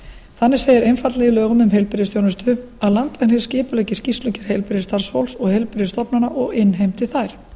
þannig segir einfaldlega í lögum um heilbrigðisþjónustu að landlæknir skipuleggi skýrslugerð heilbrigðisstarfsfólks og heilbrigðisstofnana og innheimti þær